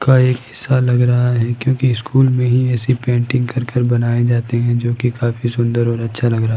का एक हिस्सा लग रहा है क्योंकि स्कूल मे ही ऐसी पेंटिंग कर कर बनाई जाती है जो की काफी सुंदर और अच्छा लग रहा है।